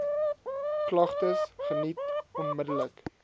klagtes geniet onmiddellik